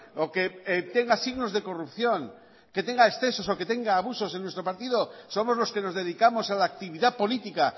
o que tenga signos de corrupción que tenga excesos o que tenga abusos en nuestro partido somos los que nos dedicamos a la actividad política